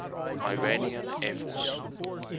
iranian air force